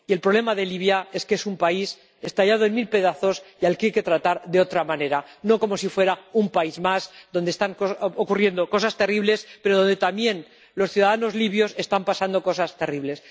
Y el problema de Libia es que es un país estallado en mil pedazos y al que hay que tratar de otra manera, no como si fuera un país más donde están ocurriendo cosas terribles, pero donde también los ciudadanos libios están pasando cosas terribles.